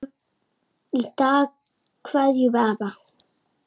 Í dag kveðjum við afa.